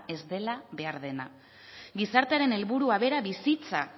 ez dela behar dena gizartearen helburua bera bizitza